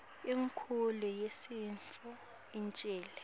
inkukhu yesintfu icnile